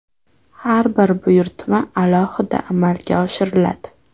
Har bir buyurtma alohida amalga oshiriladi.